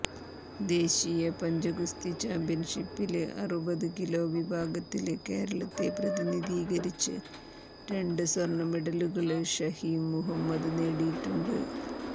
ദേശീയ പഞ്ചഗുസ്തി ചാമ്പ്യൻഷിപ്പില് അറുപതു കിലോ വിഭാഗത്തില് കേരളത്തെ പ്രതിനിധീകരിച്ച് രണ്ട് സ്വര്ണമെഡലുകള് ഷഹീം മുഹമ്മദ് നേടിയിട്ടുണ്ട്